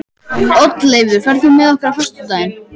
Oddleifur, ferð þú með okkur á föstudaginn?